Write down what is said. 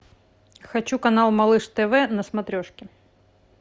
хочу канал малыш тв на смотрешке